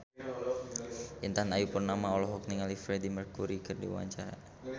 Intan Ayu Purnama olohok ningali Freedie Mercury keur diwawancara